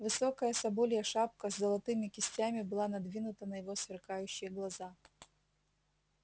высокая соболья шапка с золотыми кистями была надвинута на его сверкающие глаза